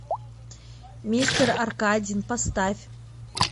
мистер аркадин поставь